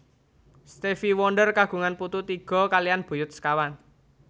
Stevie Wonder kagungan putu tiga kaliyan buyut sekawan